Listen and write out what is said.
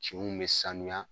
Kinw me sanuya